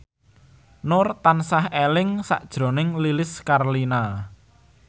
Nur tansah eling sakjroning Lilis Karlina